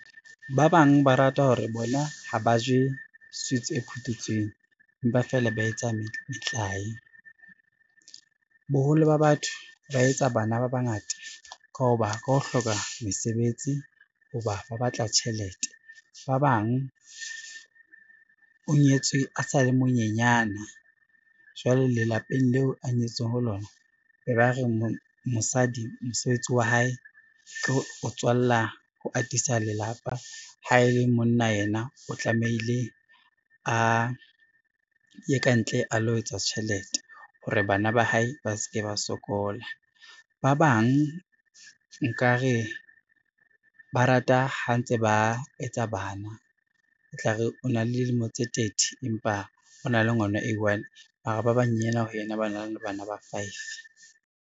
Ba bang ba rata hore bona ha ba je sweets e phuthetsweng, empa fela ba etsa metlae. Boholo ba batho ba etsa bana ba bangata ka ho ba ka ho hloka mesebetsi ho ba ba batla tjhelete. Ba bang o nyetswe a sa le monyenyane jwale lelapeng leo a nyetswe ho lona, be ba re mosadi mosebetsi wa hae ke ho atisa lelapa, ha e le monna yena o tlamehile a ye kantle a lo etsa tjhelete hore bana ba hae ba ske ba sokola. Ba bang nkare ba rata ha ntse ba etsa bana e tla re o na le dilemo tse thirty, empa o na le ngwana a i-one mara ba banyenyana ho ena ba na le bana ba five.